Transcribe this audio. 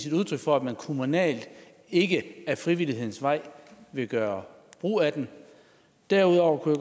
et udtryk for at man kommunalt ikke ad frivillighedens vej ville gøre brug af den derudover kunne